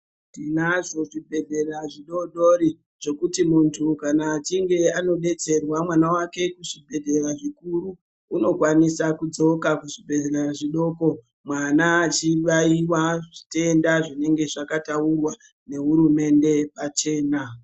Tinazvo zvibhedhlera zvidodori zvekuti mundu kana achinge anobetserwa mwana kuzvibhedhlera zvikuru unokwanisa kudzoka kuzvibhedhlera zvidoko mwana achibayiwa zvitenda zvinenge zvakataurwa nehurumende pachena.